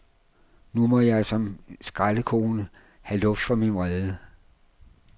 Nu må jeg som skraldekone have luft for min vrede.